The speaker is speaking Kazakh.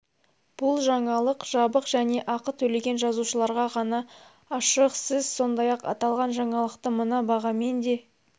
бұл жаңалық жабық және ақы төлеген жазылушыларға ғана ашық сіз сондай-ақ аталған жаңалықты мына бағамен де